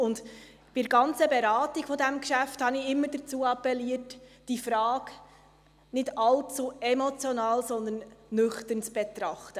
Bei der ganzen Beratung dieses Geschäfts habe ich immer dafür appelliert, diese Frage nicht allzu emotional, sondern nüchtern zu betrachten.